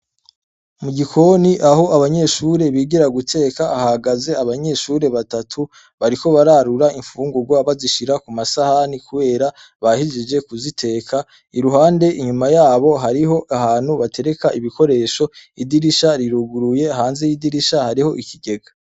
Mugikoni aho abanyeshure bigira guteka ,hahagaze abanyeshure batatu bariko bararura imfungurwa bazishira kumasahani kubera bahejeje kuziteka ,iruhande inyuma yabo hariyo ahantu batereka ibikoresho, idirisha riruguruye hanze y'idirisha hariho ikigega.